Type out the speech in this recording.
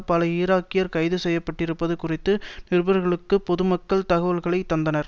பல ஈராக்கியர் கைது செய்ய பட்டிருப்பது குறித்து நிருபர்களுக்கு பொதுமக்கள் தகவல்களை தந்தனர்